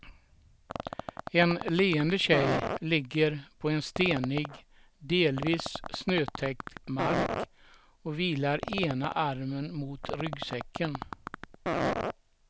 En leende tjej ligger på en stenig delvis snötäckt mark och vilar ena armen mot ryggsäcken.